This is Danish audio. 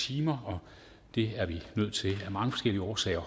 timer og det er vi nødt til at mange forskellige årsager